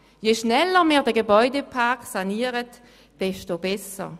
Je schneller wir den Gebäudepark sanieren, umso besser!